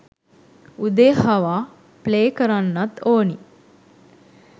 උදේ හවා ප්ලේ කරන්නත් ඕනි